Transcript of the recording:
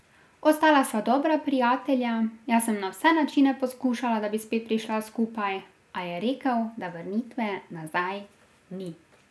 Ostala sva dobra prijatelja, jaz sem na vse načine poskušala, da bi spet prišla skupaj, a je rekel, da vrnitve nazaj ni.